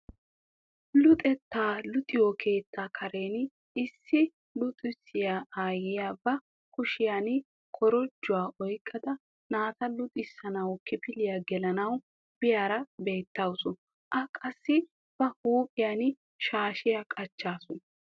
Luxettaa luxiyoo keettaa karen issi luxissiyaa ayiyaa ba kushiyaan korojjuwaa oyqqada naata luxxisanawu kifiliyaa gelanawu biyaara beettawus. A qassi ba huphphiyaan shaashiyaa qacaasu.